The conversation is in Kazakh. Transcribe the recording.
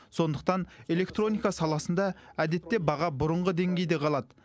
сондықтан электроника саласында әдетте баға бұрынғы деңгейде қалады